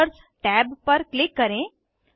markers tab पर click करें